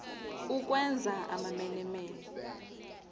ukwenza amamene mene